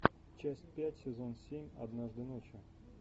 часть пять сезон семь однажды ночью